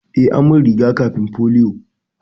Eh, an min riga-kafin polio.